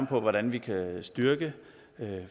på hvordan vi kan styrke